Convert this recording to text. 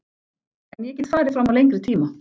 En ég get farið fram á lengri tíma.